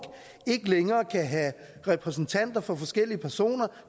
ikke længere kan have repræsentanter for forskellige personer